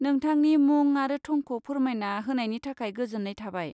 नोंथांनि मुं आरो थंखौ फोरमायना होनायनि थाखाय गोजोन्नाय थाबाय।